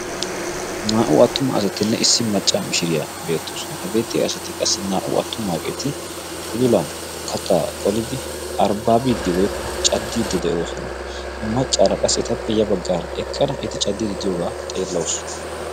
naa''u attumaa asatinne issi macca mishiriyaa beettoosona habeetti asati qassi naa''u attumaageeti udulan kattaa qolidi arbbaabiiddi woykko caddiiddi de'oosona maccaara qassi etappe ya baggaara eqqada eti caddiidi diyoogaa xeellausu